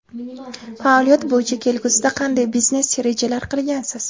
Faoliyat bo‘yicha kelgusida qanday biznes rejalar qilgansiz?